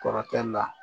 Kɔrɔkɛ la